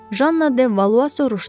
Janna De Valua soruşdu.